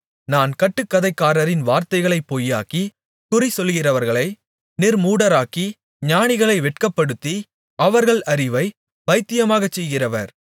நான் கட்டுக்கதைக்காரரின் வார்த்தைகளைப் பொய்யாக்கி குறிசொல்கிறவர்களை நிர்மூடராக்கி ஞானிகளை வெட்கப்படுத்தி அவர்கள் அறிவைப் பைத்தியமாகச் செய்கிறவர்